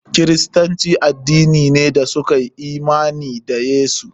Kiristanci addini ne da suka yi imani da Yesu.